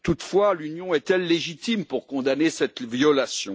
Toutefois, l'Union est elle légitime pour condamner cette violation?